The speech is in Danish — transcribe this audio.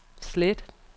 slet